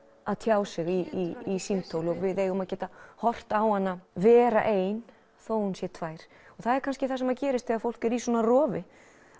að tjá sig í símtól og við eigum að geta horft á hana vera ein þó hún sé tvær það er kannski það sem gerist þegar fólk er í svona rofi